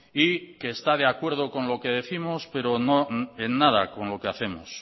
y que está de acuerdo con lo que décimos pero en nada con lo que hacemos